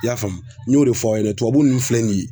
I y'a faamu n y'o de fɔ aw ɲɛna tubabu nunnu filɛ nin ye